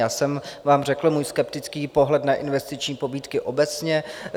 Já jsem vám řekl svůj skeptický pohled na investiční pobídky obecně.